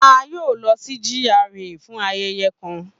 A yoo lọ si GRA fun ayẹyẹ kan.